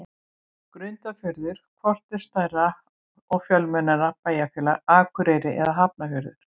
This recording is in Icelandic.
Grundarfjörður Hvort er stærra og fjölmennara bæjarfélag, Akureyri eða Hafnarfjörður?